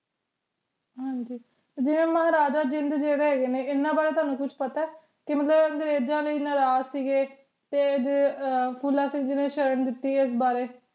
ਹਾਂਜੀ ਜਿਵੇਂ ਮਹਾਰਾਜਾ ਜਿੰਦ ਜੇਦੇ ਹੈਗੇ ਨੇ ਏਨਾ ਬਾਰੇ ਤੁਹਾਨੂੰ ਕੁਛ ਪਤਾ ਕਿ ਮਤਲਬ ਅੰਗਰੇਜ਼ਾਂ ਲਯੀ ਨਾਰਾਜ ਸੀਗੇ ਤੇ ਫੂਲਾ ਸਿੰਘ ਜੀ ਨੇ ਸ਼ਰਨ ਦਿਤੀ ਇਸ ਬਾਰੇ